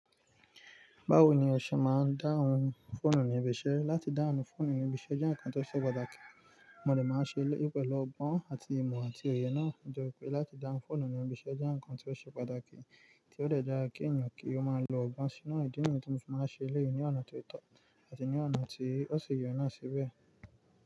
Báwo ni o se máa ń dáhùn fóònù òní ibiṣẹ́? Láti dáhùn fóònù òní ibiṣẹ́ jẹ́ ǹkan tó ṣe pàtàkì. Mo dé máa ń ṣe é pẹ̀lú ọgbọ́n àti imọ̀ àti òye náà. Ó jọ pé láti dáhùn fóònù òní ibiṣẹ́ jẹ́ ǹkan tó ṣe pàtàkì, tí ó dàrà kí èèyàn kí ó máa lo ọgbọ́n sínú ìdí nǹkan tí wọ́n máa ń ṣe lẹ́yìn ní ọ̀nà tó tọ́ àti ní ọ̀nà tí ó sì ye náà síbẹ̀.